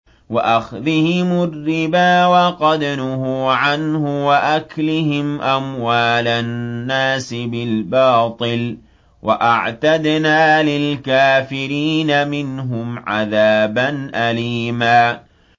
وَأَخْذِهِمُ الرِّبَا وَقَدْ نُهُوا عَنْهُ وَأَكْلِهِمْ أَمْوَالَ النَّاسِ بِالْبَاطِلِ ۚ وَأَعْتَدْنَا لِلْكَافِرِينَ مِنْهُمْ عَذَابًا أَلِيمًا